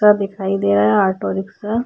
दिखाई दे रहा है ऑटो-रिक्शा ।